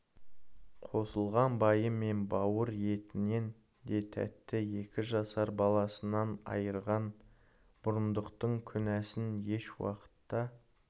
қосылған байы мен бауыр етінен де тәтті екі жасар баласынан айырған бұрындықтың күнәсін еш уақытта